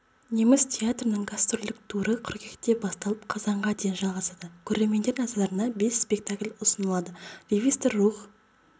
неміс театрының гастрольдік туры қыркүйекте басталып қазанға дейін жалғасады көрермендер назарына бес спектакль ұсынылады ревизор рух